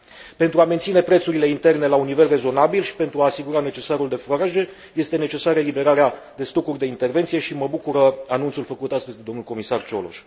Pentru a menține prețurile interne la un nivel rezonabil și pentru a asigura necesarul de furaje, este necesară eliberarea de stocuri de intervenție și mă bucură anunțul făcut astăzi de domnul comisar Cioloș.